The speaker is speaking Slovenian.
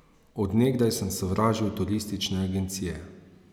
Od nekdaj sem sovražil turistične agencije.